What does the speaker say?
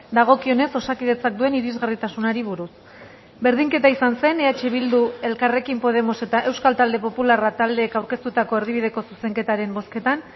dagokionez osakidetzak duen irisgarritasunari buruz berdinketa izan zen eh bildu elkarrekin podemos eta euskal talde popularra taldeek aurkeztutako erdibideko zuzenketaren bozketan